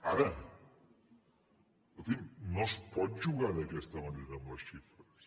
ara escolti’m no es pot jugar d’aquesta manera amb les xifres